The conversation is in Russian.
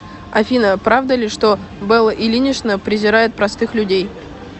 афина правда ли что белла ильинична презирает простых людей